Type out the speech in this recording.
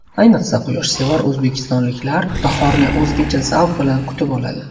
Ayniqsa quyoshsevar o‘zbekistonliklar bahorni o‘zgacha zavq bilan kutib oladi.